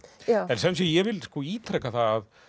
en sem sé ég vil ítreka það